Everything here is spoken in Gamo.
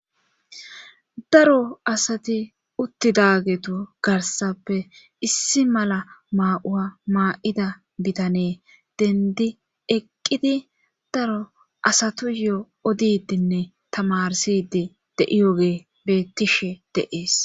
daro asati uttidaagetu garsappe issi mala maa7uwa maa7ida bitanee dendi eqqidi daro asatu yoo odidinne tamarsidi de7iyoge bettishe de7ees